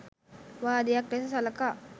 වාදයක් ලෙස සලකා